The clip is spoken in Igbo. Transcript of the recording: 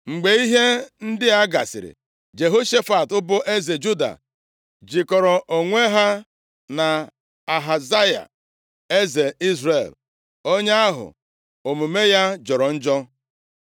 Mgbe ihe ndị a gasịrị, Jehoshafat, bụ eze Juda jikọrọ onwe ha na Ahazaya, eze Izrel, onye ahụ omume ya jọrọ njọ.